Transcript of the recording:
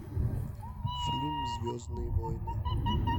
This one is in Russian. фильм звездные войны